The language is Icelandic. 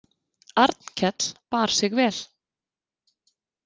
Arnkell bar sig vel.